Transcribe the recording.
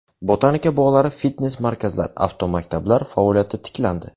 Botanika bog‘lari, fitnes markazlar, avtomaktablar faoliyati tiklandi.